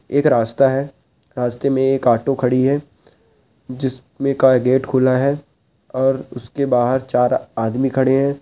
एक रास्ता है रास्ते में एक ऑटो खड़ी है जिसमें का गेट खुला है और उसके बाहर चार आदमी खड़े हैं।